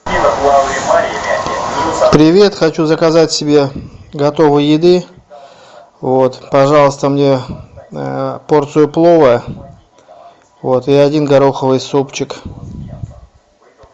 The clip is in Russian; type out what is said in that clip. привет хочу заказать себе готовой еды вот пожалуйста мне порцию плова вот и один гороховый супчик